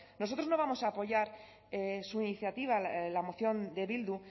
nosotros no vamos a apoyar su iniciativa la moción de bildu